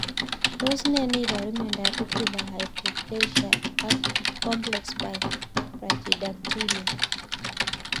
Tos nee neiparu miondop Fibular hypoplasia ak complex brachydactyly?